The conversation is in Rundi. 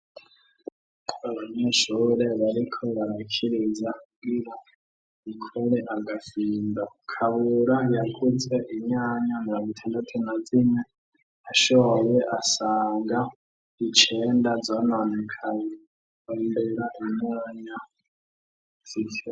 Abanyeshure bariko barakiriza kugira bakore agafindo, Kabura yakuze inyanya mirongo itandatu na zine, ashoye asanga icenda zononekaye, rondera inyanya zisigaye.